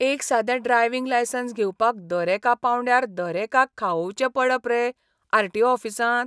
एक सादें driving licence घेवपाक दरेका पावंड्यार दरेकाक खावोवचें पडप रे आर.टी.ओ. ऑफिसांत?